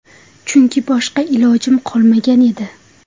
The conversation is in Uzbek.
Chunki boshqa ilojim qolmagan edi.